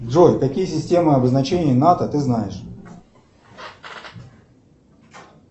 джой какие системы обозначения нато ты знаешь